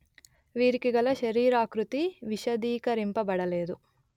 వీరికిగల శరీరాకృతి విశదీకరింపబడలేదు